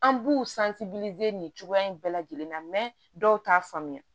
An b'u nin cogoya in bɛɛ lajɛlen na dɔw t'a faamuya